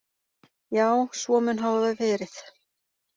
Já, svo mun hafa verið.